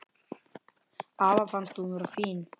Afa fannst hún vera fín.